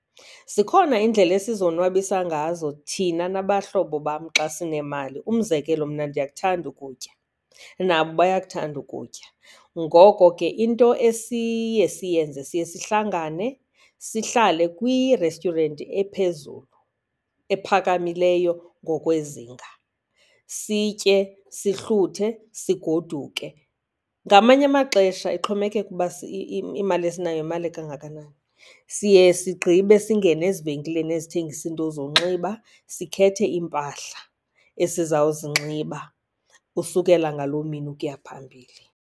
Zikhona iindlela esizonwabisa ngazo thina nabahlobo bam xa sinemali. Umzekelo, mna ndiyakuthanda ukutya, nabo bayakuthanda ukutya ngoko ke into esiye siyenze siye sihlangane sihlale kwi-restaurant ephezulu, ephakamileyo ngokwezinga, sitye, sihluthe, sigoduke. Ngamanye amaxesha ixhomekeka ukuba imali esinayo yimali ekangakanani, siye sigqibe singene ezivenkileni ezithengisa iinto zonxiba, sikhethe iimpahla esizawuzinxiba usukela ngaloo mini ukuya phambili.